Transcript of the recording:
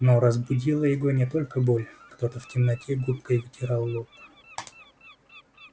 но разбудила его не только боль кто-то в темноте губкой вытирал лоб